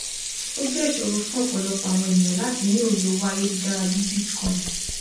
ó jẹ ìṣòro fún ọpọlọpọ àwọn ènìyàn láti ní òye owó ayélujára bí i bitcoin